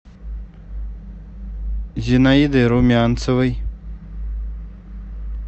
зинаиды румянцевой